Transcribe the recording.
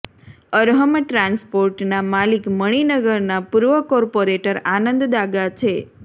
અરહમ ટ્રાન્સપોર્ટના માલિક મણિનગરના પૂર્વ કોર્પોરેટર આનંદ દાગા છે